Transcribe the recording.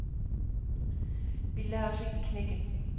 Vi lader os ikke knække.